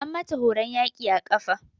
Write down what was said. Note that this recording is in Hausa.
An mata horon yaƙi a ƙafa.